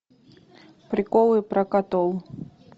приколы про котов